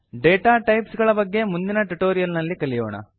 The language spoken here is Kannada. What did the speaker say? ಡೆಟಾ ಟೈಪ್ಸ್ ಗಳ ಬಗ್ಗೆ ಮುಂದಿನ ಟ್ಯುಟೋರಿಯಲ್ ನಲ್ಲಿ ಕಲಿಯೋಣ